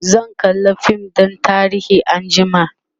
zan kalla fim ɗin tarihi anjima